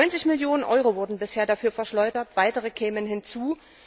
90 Millionen Euro wurden bisher dafür verschleudert, weitere kämen hinzu.